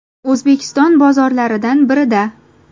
O‘zbekiston bozorlaridan birida.